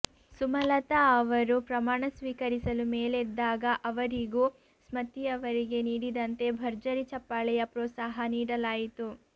ಸುಮಲತಾ ಅವರು ಪ್ರಮಾಣ ಸ್ವೀಕರಿಸಲು ಮೇಲೆದ್ದಾಗ ಅವರಿಗೂ ಸ್ಮತಿಯವರಿಗೆ ನೀಡಿದಂತೆ ಭರ್ಜರಿ ಚಪ್ಪಾಳೆಯ ಪ್ರೋತ್ಸಾಹ ನೀಡಲಾಯಿತು